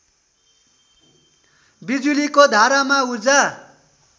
बिजुलीको धारामा ऊर्जा